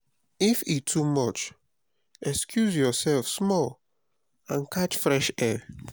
if e too much excuse yourself small and catch fresh air.